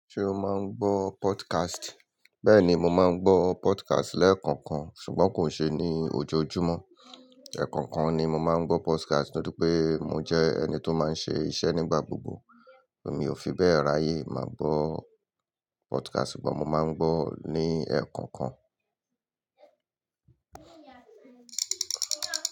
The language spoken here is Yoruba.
Ṣé o máa ń gbọ́ podcast? Bẹ́ẹ̀ ni, mo máa ń gbọ́ podcast lẹ́ẹ̀kọ̀kan ṣùgbọ́n kò n ṣe ní ojoojúmọ́. Ẹ̀ẹ̀kọ̀kan ni mo máa ń gbọ́ podcast nítorí pé mo jẹ́ ẹni tó máa ń ṣe iṣẹ́ nígbà gbogbo. Èmi ò fi bẹ́ẹ̀ ráyè máa gbọ́ podcast ṣùgbọ́n mo máa ń gbọ́ ní ẹ̀ẹ̀kọ̀kan.